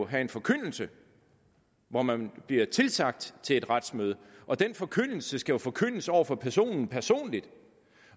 have en forkyndelse hvor man bliver tilsagt til et retsmøde og den forkyndelse skal jo forkyndes over for personen personligt